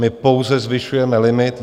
My pouze zvyšujeme limit.